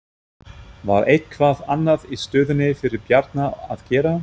Var eitthvað annað í stöðunni fyrir Bjarna að gera?